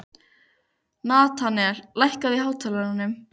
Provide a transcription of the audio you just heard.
Natanael, lækkaðu í hátalaranum.